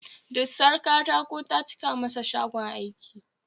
Dusar katako ta cika masa shagon aiki